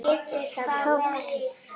Það tókst!